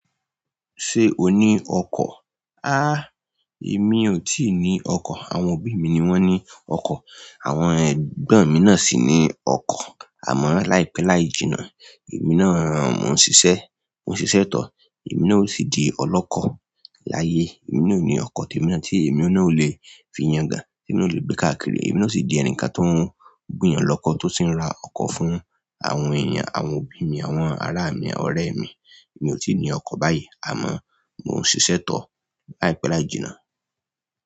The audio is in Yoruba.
Sé o ní ọkọ̀? Há! Èmi ò tíì ní ọkọ̀. Àwọn òbí mi ni wọn ní ọkọ̀ àwọn ẹ̀gbọ́n mi náà sì ní ọkọ̀. Àmọ́ láìpẹ́ láì jìnnà, èmi náà, mò ń ṣiṣẹ́, mò ń ṣiṣẹ́ tọ̀, èmi náà o sì di ọlọ́kọ̀ láyé. Èmi náà ò ní ọkọ̀ tí èmi náà tí èmi náà ò lè fi yangàn, tí n ò lè gbé káàkiri, èmi náà sì di ẹnìkan tó ń gbìyànlọ́kọ̀ tó sì ń ra ọkọ̀ fún àwọn èèyàn, àwọn òbí mi, àwọn ará mi, ọ̀rẹ́ mi. Èmi ò tíì ní ọkọ̀ báyìí, àmọ́ mò ń ṣiṣẹ́ tọ̀ láìpẹ́ láì jìnnà.